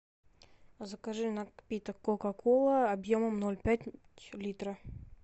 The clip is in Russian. закажи напиток кока кола объемом ноль пять литра